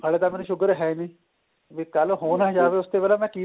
ਹਲੇ ਤਾਂ ਮੈਨੂੰ sugar ਹੈ ਨੀਂ ਵੀ ਕੱਲ ਹੋ ਨਾ ਜਾਵੇ ਉਸ ਤੋਂ ਪਹਿਲਾਂ ਮੈਂ ਕੀ